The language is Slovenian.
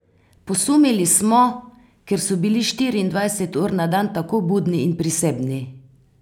Posumili smo, ker so bili štiriindvajset ur na dan tako budni in prisebni.